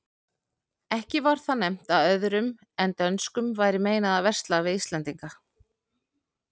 Ekki var þar nefnt að öðrum en dönskum væri meinað að versla við íslendinga.